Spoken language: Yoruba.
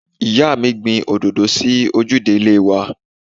Ìyáàmi gbìn òdòdó sí ojúde ilé wa.